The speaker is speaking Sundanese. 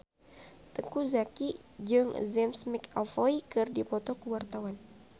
Teuku Zacky jeung James McAvoy keur dipoto ku wartawan